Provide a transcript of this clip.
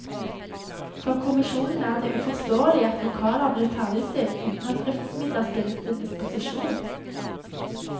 For kommisjonen er det uforståelig at lokaler blir ferdigstilt uten at driftsmidler stilles til disposisjon.